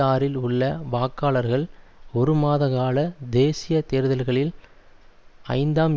ஆறில் உள்ள வாக்காளர்கள் ஒரு மாத கால தேசிய தேர்தல்களில் ஐந்தாம்